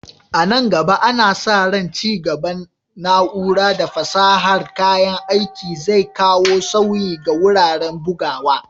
A nan gaba, ana sa ran ci gaban na'ura da fasahar kayan aiki zai kawo sauyi ga wuraren bugawa.